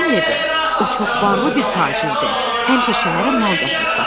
O çox varlı bir tacirdir, həmişə şəhərə mal gətirib satır.